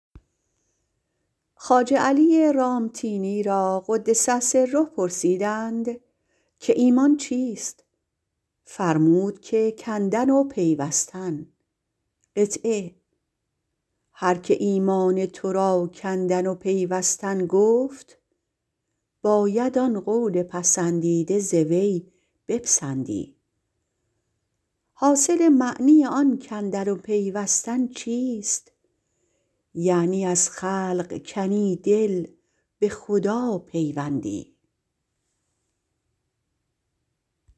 خواجه علی رامتینی را - قدس الله سره - پرسیدند که ایمان چیست فرمودند که کندن و پیوستن هر که ایمان تو را کندن و پیوستن گفت باید آن قول پسندیده ازو بپسندی حاصل معنی آن کندن و پیوستن چیست یعنی از خلق کنی دل به خدا پیوندی